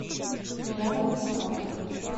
рядом сталкер